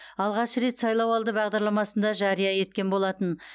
алғаш рет сайлауалды бағдарламасында жария еткен болатын